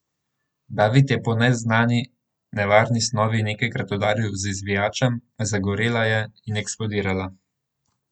David je po neznani nevarni snovi nekajkrat udaril z izvijačem, zagorela je in eksplodirala.